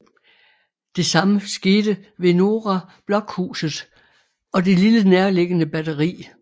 Det samme skete ved Norra Blockhuset og det lille nærliggende batteri